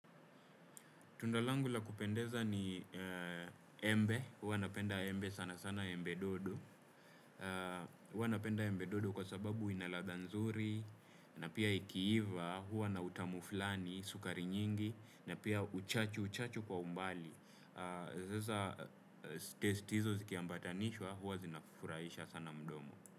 Tundalangu la kupendeza ni embe, huwa napenda embe sana sana embe dodo, huwa napenda embe dodo kwa sababu inaladha nzuri, na pia ikiiva, huwa na utamuflani, sukari nyingi, na pia uchachu uchachu kwa umbali. Zaza testizo zikiambatanishwa, huwa zinafuraisha sana mdomo.